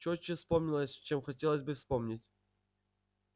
чётче вспоминалось чем хотелось бы вспомнить